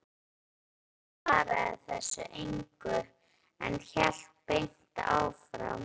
Tómas svaraði þessu engu, en hélt beint áfram